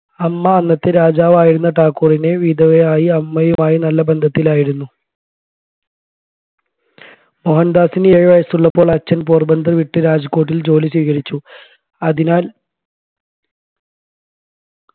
'അമ്മ അന്നത്തെ രാജാവായിരുന്ന താക്കൂറിൻറെ വിധവയായ അമ്മയുമായി നല്ല ബന്ധത്തിലായിരുന്നു മോഹൻദാസിന് ഏഴുവയസ്സുള്ളപ്പോൾ അച്ഛൻ പോർബന്ദർ വിട്ടു രാജ്‌കോട്ടിലെ ജോലി സ്വീകരിച്ചു അതിനാൽ